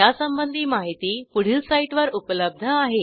यासंबंधी माहिती पुढील साईटवर उपलब्ध आहे